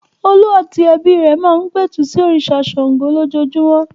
Olú àti ẹbí rẹ̀ máa ń pẹ̀tù sí òrìṣà Ṣàngó lójoojúmọ́.